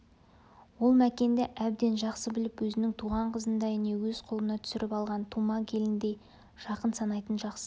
ол мәкенді әбден жақсы біліп өзінің туған қызындай не өз қолына түсіріп алған тума келініндей жақын санайтын жақсы